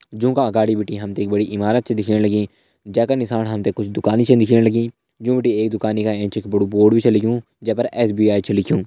जोंका आगड़ी बिटी हम त बड़ी इमारत छ दिखेण लगीं जैका निशाण हम त कुछ दुकान छ दिखेण लगीं जू बिटि एक दुकानि का एंच एक बड़ू बोर्ड भी छ लग्युं जै पर एस.भी.आई. छ लिख्युं।